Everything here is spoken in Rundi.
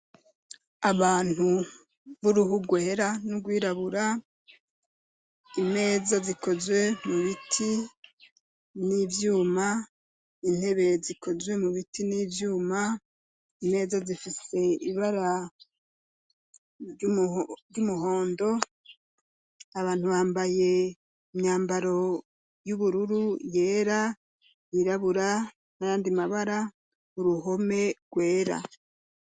Abantu b'uruhu rwera n'urwirabura, imeza zikozwe mu biti n'ivyuma, intebe zikozwe mu biti n'ivyuma, imeza zifise ibara ry'umuhondo, abantu bambaye imyambaro y'ubururu, yera, yirabura, n'ayandi mabara, uruhome rwera.